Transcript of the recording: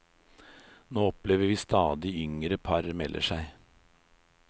Nå opplever vi at stadig yngre par melder seg på.